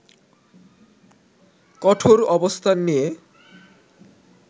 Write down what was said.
কঠোর অবস্থান নিয়ে